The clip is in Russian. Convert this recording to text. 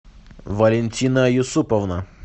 валентина юсуповна